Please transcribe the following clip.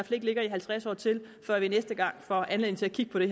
ikke ligger i halvtreds år til før vi næste gang får anledning til at kigge på det